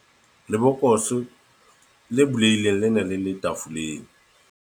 lebokose le bulehileng le ne le le tafoleng